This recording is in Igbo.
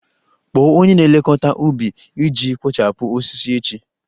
Kpọọ onye na-elekọta ubi iji kpochapụ osisi echi!